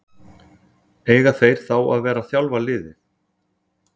Eiga þeir þá að vera að þjálfa liðið?